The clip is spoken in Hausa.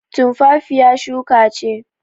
Tumfafiya shuka ce.